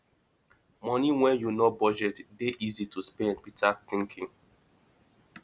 money wey you no budget dey easy to spend without thinking